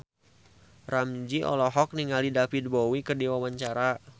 Ramzy olohok ningali David Bowie keur diwawancara